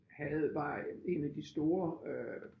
Havde var en af de store øh